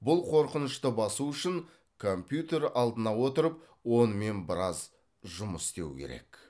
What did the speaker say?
бұл қорқынышты басу үшін компьютер алдына отырып онымен біраз жұмыс істеу керек